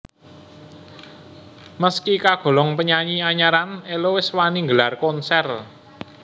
Meski kagolong penyanyi anyaran Ello wis wani nggelar konser